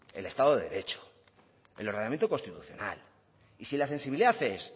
el estado de derecho el ordenamiento constitucional y si la sensibilidad es